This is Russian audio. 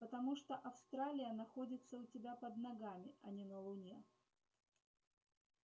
потому что австралия находится у тебя под ногами а не на луне